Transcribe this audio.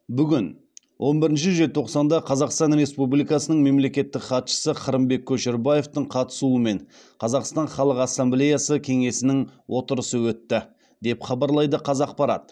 бүгін он бірінші желтоқсанда қазақстан республикасының мемлекеттік хатшысы қырымбек көшербаевтың қатысуымен қазақстан халық ассамблеясы кеңесінің отырысы өтті деп хабарлайды қазақпарат